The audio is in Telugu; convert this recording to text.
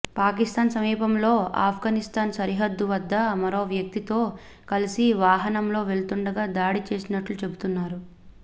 పాకిస్థాన్ సమీపంలో ఆఫ్గనిస్థాన్ సరిహద్దు వద్ద మరో వ్యక్తితో కలిసి వాహనంలో వెళుతుండగా దాడి చేసినట్లు చెబుతన్నారు